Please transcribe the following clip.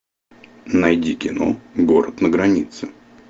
найди кино город на границе